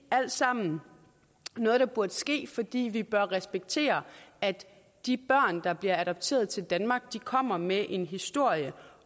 alt sammen noget der burde ske fordi vi bør respektere at de børn der bliver adopteret til danmark kommer med en historie